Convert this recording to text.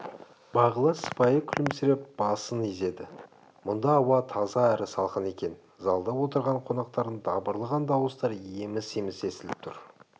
бағила сыпайы күлімсіреп басы изеді мұнда ауа таза әрі салқын екен залда отырған қонақтардың дабырлаған дауыстары еміс-еміс естіліп тұр